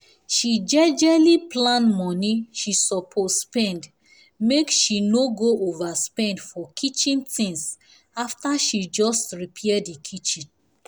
she jejely plan money she suppose spendmake she no go overspend for kitchen things after she just repair the kitchen